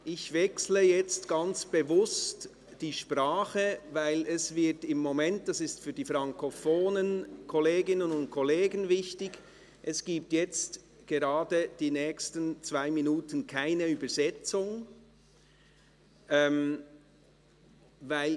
Ich wechsle jetzt ganz bewusst die Sprache, weil – das ist für die frankophonen Kolleginnen und Kollegen wichtig – es die nächsten zwei Minuten keine Übersetzung gibt.